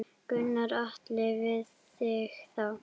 Gunnar Atli: Við þig þá?